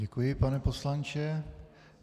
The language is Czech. Děkuji, pane poslanče.